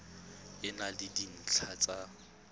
e na le dintlha tsa